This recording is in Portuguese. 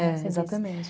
Exatamente.